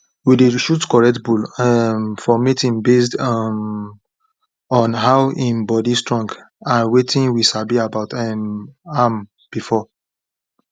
we dey choose correct bull um for mating based um on how im body strong and wetin we sabi about um am before